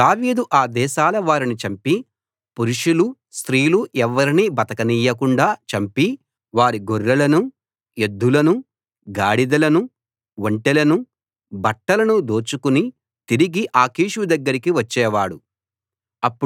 దావీదు ఆ దేశాల వారిని చంపి పురుషులు స్త్రీలు ఎవ్వరినీ బతకనీయకుండా చంపి వారి గొర్రెలనూ ఎద్దులనూ గాడిదలనూ ఒంటెలనూ బట్టలనూ దోచుకుని తిరిగి ఆకీషు దగ్గరికి వచ్చేవాడు